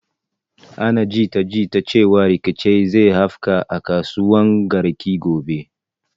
Ana jita jita cewan rikici zai afka a kasuwan garki gobe